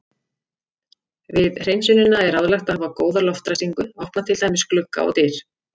Við hreinsunina er ráðlegt að hafa góða loftræstingu, opna til dæmis glugga og dyr.